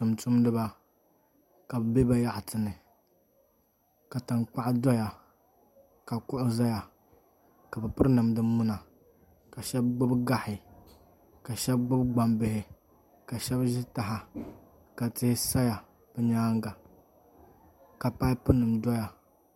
Tumtumdiba ka bi bɛ bayaɣati ni ka tankpaɣu doya ka kuɣu ʒɛya ka bi piri namda muna ka shab gbubi gahi ka shab gbubi gbambihi ka shab ʒi taha ka tihi sa bi nyaanga ka paipu nim doya